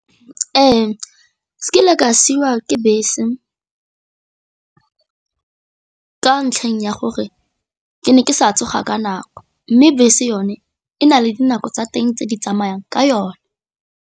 Ee, kile ka siiwa ke bese ka ntlheng ya gore ke ne ke sa tsoga ka nako mme bese yone e na le dinako tsa teng tse di tsamayang ka yone.